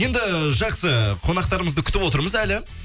енді жақсы қонақтарымызды күтіп отырмыз әлі